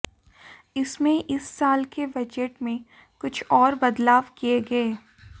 इसमें इस साल के बजट में कुछ और बदलाव किये गये